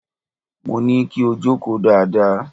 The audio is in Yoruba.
Mo ní kí o jókòó dáadáa!